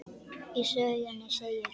Í sögunni segir